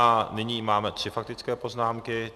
A nyní máme tři faktické poznámky.